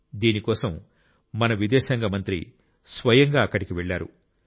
దీని కోసం మన విదేశాంగ మంత్రి స్వయంగా అక్కడికి వెళ్లారు